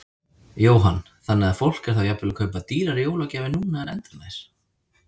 Jóhann: Þannig að fólk er þá jafnvel að kaupa dýrari jólagjafir núna en endranær?